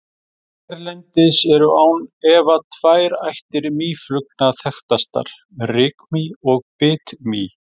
Hérlendis eru án efa tvær ættir mýflugna þekktastar, rykmý og bitmý.